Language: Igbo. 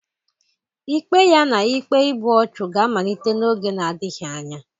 Ikpe ya na ikpe igbu ọchụ ga-amalite n'oge na-adịghị anya